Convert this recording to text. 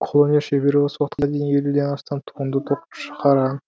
қолөнер шебері осы уақытқа дейін елуден астам туынды тоқып щығарған